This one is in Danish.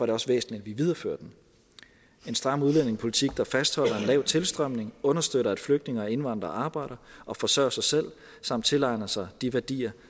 det også væsentligt at vi viderefører den en stram udlændingepolitik der fastholder en lav tilstrømning og understøtter at flygtninge og indvandrere arbejder og forsørger sig selv samt tilegner sig de værdier